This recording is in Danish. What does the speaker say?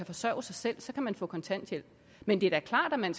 forsørge sig selv så kan man få kontanthjælp men det er da klart at man